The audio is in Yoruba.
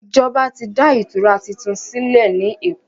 Ìjọba tí dá ìtura títún sílè ní èkó.